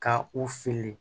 Ka u fili